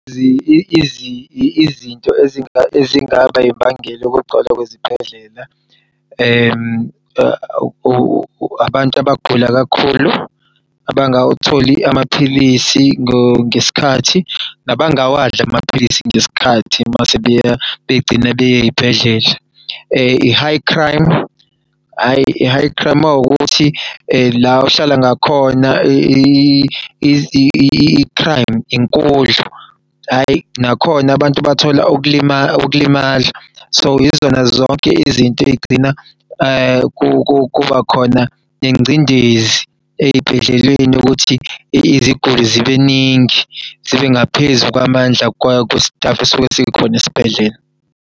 Izinto ezingaba imbangela yokugcwala kwezibhedlela, abantu abagula kakhulua bangawatholi amaphilisi ngesikhathi nabangawadla amaphilisi ngesikhathi mase begcine bey'ey'bhedlela. i-High crime mawukuthi la ohlala ngakhona i-crime inkulu, hhayi nakhona abantu bathola ukulimala. So, yizona zonke izinto ey'gcina kubakhona nengcindezi ey'bhedleleni ukuthi iziguli zibeningi zibe ngaphezu kwamandla kwe-staff esuke sikhona esibhedlela.